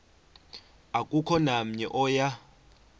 akukho namnye oya